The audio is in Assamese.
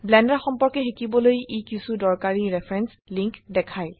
ব্লেন্ডাৰ সম্পৰ্কে শিকিবলৈ ই কিছু দৰকাৰী ৰেফাৰেন্স লিংক দেখায়